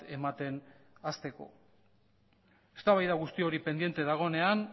ematen hasteko eztabaida guzti hori pendiente dagoenean